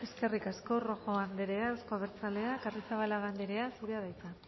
eskerrik asko rojo anderea euzko abertzaleak arrizabalaga anderea zurea da hitza